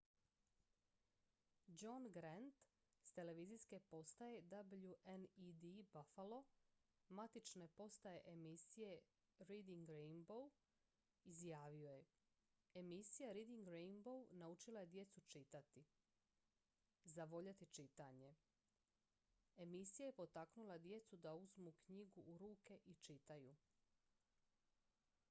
"john grant s televizijske postaje wned buffalo matične postaje emisije reading rainbow izjavio je "emisija reading rainbow naučila je djecu čitati,... zavoljeti čitanje – [emisija] je potaknula djecu da uzmu knjigu u ruke i čitaju.""